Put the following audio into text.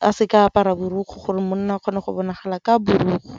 a seka a apara borokgwe gore monna a kgone go bonagala ka borokgwe.